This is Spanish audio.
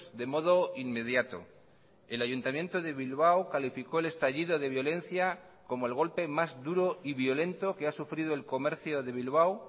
de modo inmediato el ayuntamiento de bilbao calificó el estallido de violencia como el golpe más duro y violento que ha sufrido el comercio de bilbao